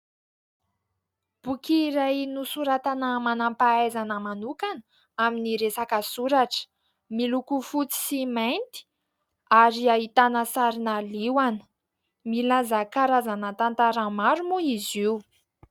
Boky iray nosoratana manam-pahaizana manokana amin'ny resaka soratra, miloko fotsy sy mainty ary ahitana sarina liona, milaza karazana tantara maro moa izy io.